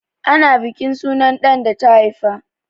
Ana bukin sunan ɗan da ta haifa.